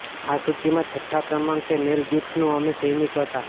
આ સૂચિમાં છઠ્ઠા ક્રમાંક છે મેલ ગિબ્સનનું અમે સૈનિકો હતા